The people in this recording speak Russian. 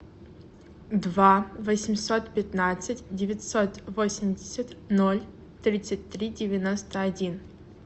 два восемьсот пятнадцать девятьсот восемьдесят ноль тридцать три девяносто один